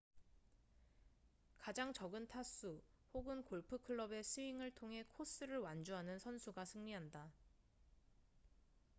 가장 적은 타수 혹은 골프 클럽의 스윙을 통해 코스를 완주하는 선수가 승리한다